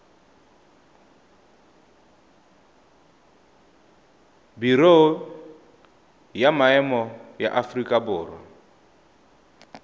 biro ya maemo ya aforika